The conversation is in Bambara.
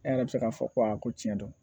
E yɛrɛ bɛ se k'a fɔ ko aa ko tiɲɛ don